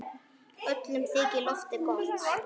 Öllum þykir lofið gott.